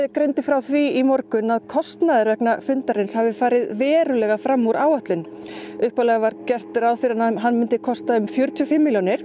greindi frá því í morgun að kostnaður vegna hans hafi farið verulega fram út áætlun upphaflega var gert ráð fyrir að hann myndi kosta um fjörutíu og fimm milljónir